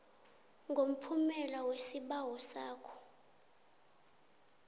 ngomphumela wesibawo sakho